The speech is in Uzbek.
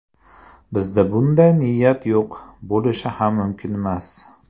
Bizda bunday niyat yo‘q, bo‘lishi ham mumkinmas.